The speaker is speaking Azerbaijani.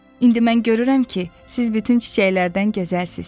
İndi mən görürəm ki, siz bütün çiçəklərdən gözəlsiniz.